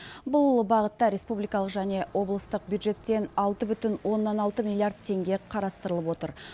бұл бағытта республикалық және облыстық бюджеттен алты бүтін оннан алты миллиард теңге қарастырылып отыр